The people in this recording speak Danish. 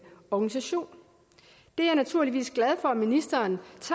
organisation jeg er naturligvis glad for at ministeren